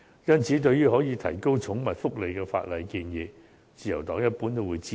因此，對於可以提高寵物福利的法例建議，自由黨一般都會支持。